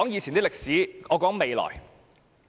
先不談歷史，我只談未來。